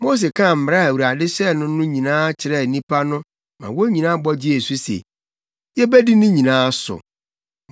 Mose kaa mmara a Awurade hyɛɛ no no nyinaa kyerɛɛ nnipa no ma wɔn nyinaa bɔ gyee so se, “Yebedi ne nyinaa so.”